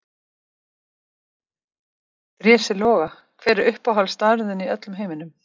Drési Loga Hver er uppáhaldsstaðurinn þinn í öllum heiminum?